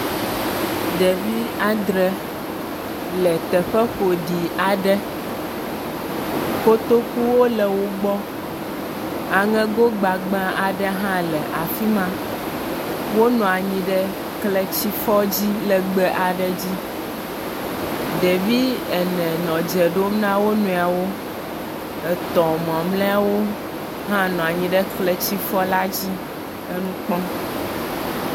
Ɖevi adre le teƒe ƒoɖi aɖe. kotokuwo le wogbɔ aŋego gbagbã aɖe hã le afi ma wonɔ anyi ɖe kletsifɔ dzi legbee aɖe dzi. Ɖevi ene nɔ edze ɖom na wonuiwɔ. Etɔ mamlɛawo hã nɔ anyi ɖe kletsifɔ la dzi nɔ enu kpɔm.